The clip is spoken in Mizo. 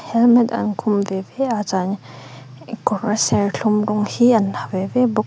helmet an khum ve ve a chuan kawr serthlum rawng hi an ha ve ve bawk --